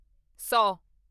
ਸੌ